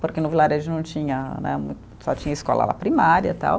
Porque no Vilarejo não tinha, né. Só tinha escola lá primária e tal.